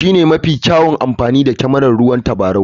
Shi ne mafi kyawun amfani da kyamarar ruwan tabarau na kifi.